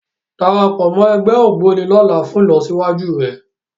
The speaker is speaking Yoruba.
Darapọ̀ mọ́ ẹgbẹ́ Ògboni lọ́la fún ìlọsíwájú rẹ